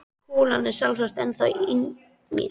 Kúlan er sjálfsagt ennþá í mér.